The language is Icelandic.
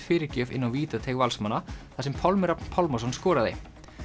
fyrirgjöf inn á vítateig Valsmanna þar sem Pálmi Rafn Pálmason skoraði